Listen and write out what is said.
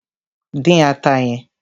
Dín ata yẹn!